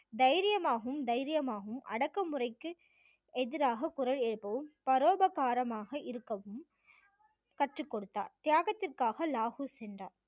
தைரியமாகவும் தைரியமாகவும் அடக்குமுறைக்கு எதிராக குரல் எழுப்பவும் பரோபகாரமாக இருக்கவும் கற்றுக்கொடுத்தார் தியாகத்திற்காக லாகூர் சென்றார்